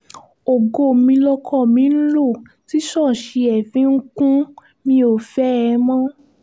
ògo mi lọkọ mi ń lọ tí ṣọ́ọ̀ṣì ẹ̀ fi ń kùn mi ò fẹ́ ẹ mọ́